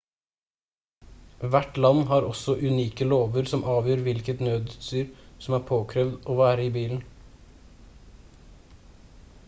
hvert land har også unike lover som avgjør hvilket nødutstyr som er påkrevd å være i bilen